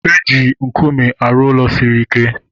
Eji nkume arụ ụlọ siri ike